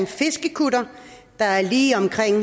fiskekutter der er lige